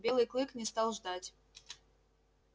белый клык не стал ждать